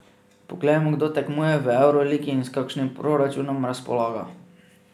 Poglejmo, kdo tekmuje v evroligi in s kakšnim proračunom razpolaga.